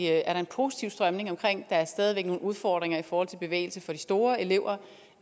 er en positiv strømning omkring bevægelse der er stadig væk nogle udfordringer i forhold til bevægelse for de store elever